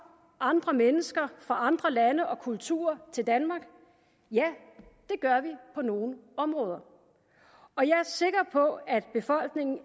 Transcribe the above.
andre mennesker fra andre lande og kulturer til danmark ja det gør vi på nogle områder og jeg er sikker på at befolkningen